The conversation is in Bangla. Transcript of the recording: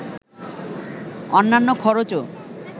অন্যান্য খরচও